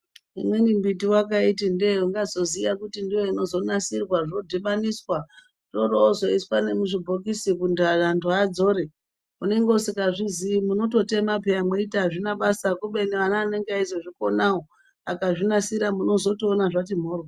Imweni mbiti ndoyavakati ndoinozoziva yonasirwa zvodhibaniswa yoroiswa nemuzvi bhokisi antu adzore unenge usingazvizivi weitotema uchiti azvina basa kubeni vana vanenge vachizozvikona vakazvinasira munoona zvati mhoryo.